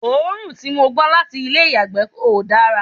òórùn tí mò ń gbọ́ láti ilé ìyàgbẹ́ ò dára